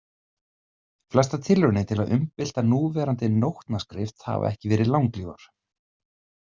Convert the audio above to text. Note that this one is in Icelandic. Flestar tilraunir til að umbylta núverandi nótnaskrift hafa ekki verið langlífar.